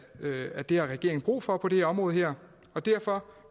at det har regeringen brug for på det område her og derfor